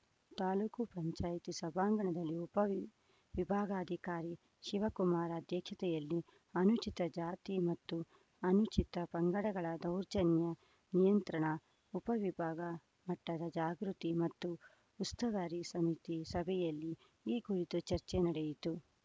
ತಾಲೂಕು ಪಂಚಾಯ್ತಿ ಸಭಾಂಗಣದಲ್ಲಿ ಉಪ ವಿಬ್ ವಿಭಾಗಾಧಿಕಾರಿ ಶಿವಕುಮಾರ್‌ ಅಧ್ಯಕ್ಷತೆಯಲ್ಲಿ ಅನುಚಿತ ಜಾತಿ ಮತ್ತು ಅನುಚಿತ ಪಂಗಡಗಳ ದೌರ್ಜನ್ಯ ನಿಯಂತ್ರಣ ಉಪ ವಿಭಾಗ ಮಟ್ಟದ ಜಾಗೃತಿ ಮತ್ತು ಉಸ್ತುವಾರಿ ಸಮಿತಿ ಸಭೆಯಲ್ಲಿ ಈ ಕುರಿತು ಚರ್ಚೆ ನಡೆಯಿತು